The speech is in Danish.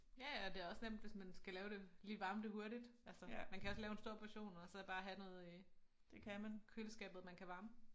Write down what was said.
Ja ja det også nemt hvis man skal lave det lige varme det hurtigt altså man kan også lave en stor portion og så bare have noget øh køleskabet man kan varme